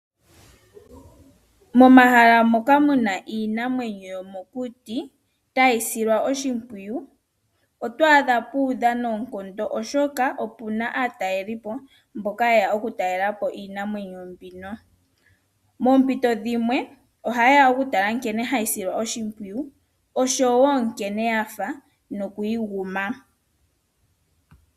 Momahala moka muna iinamwenyo yomokuti tayi silwa oshipwiyu oto adha ku udha noonkondo oshoka opuna aatalelipo mboka yeya oku talelapo iinamwenyo mbino. Moompito dhimwe ohayeya okutala nkene hayi silwa oshimpwiyu noshowo nkene yafa no kuyiguma.